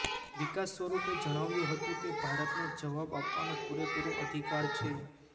વિકાસ સ્વરૂપે જણાવ્યું હતું કે ભારતને જવાબ આપવાનો પૂરેપૂરો અધિકાર છે